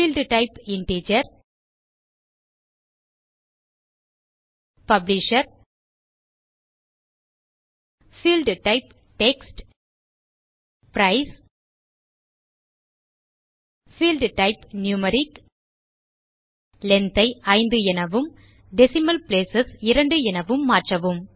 field type integer publisher field type text price field type numeric length ஐ 5 எனவும் decimal place 2 எனவும் மாற்றவும்